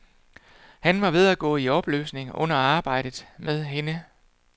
Han var ved at gå i opløsning under arbejdet med hende.